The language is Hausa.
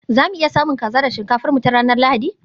za mu iya samun kaza da shinkafar mu ta ranar Lahadi?